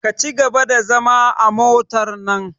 Ka cigaba da zama a motar nan!